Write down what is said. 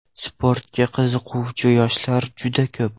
Sportga qiziquvchi yoshlar juda ko‘p.